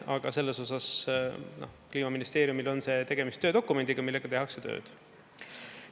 Aga selles osas Kliimaministeeriumil on tegemist dokumendiga, millega tehakse tööd.